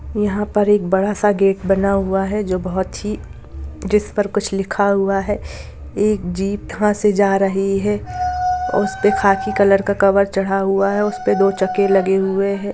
यहां पर एक बड़ा सा गेट बना हुआ है जो बोहोत ही जिसपर कुछ लिखा हुआ है एक जीप वहां से जा रही है उसपे खाकी कलर का कवर चढ़ा हुआ है उसपे दो चक्के लगे हुए हैं।